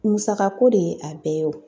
Musakako de ye a bɛɛ ye o.